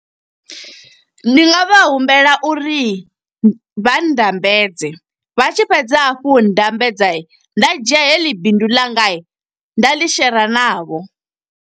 Ndi nga vha humbela uri, vha ndambedze. Vha tshi fhedza hafhu u ndambedza, nda dzhia heḽi bindu ḽanga, nda ḽi shera navho.